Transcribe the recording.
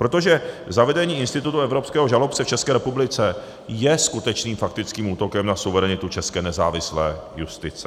Protože zavedení institutu evropského žalobce v České republice je skutečným faktickým útokem na suverenitu české nezávislé justice.